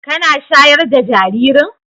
Kana shayar da jaririn?